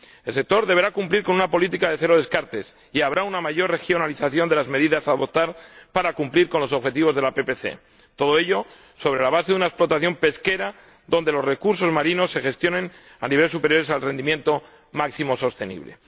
El sector deberá cumplir con una política de cero descartes y habrá una mayor regionalización de las medidas que han de adoptarse para cumplir con los objetivos de la PPC, todo ello sobre la base de una explotación pesquera en la que los recursos marinos se gestionen a niveles superiores al rendimiento máximo sostenible.